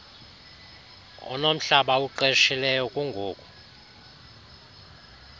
unomhlaba awuqeshileyo kungoku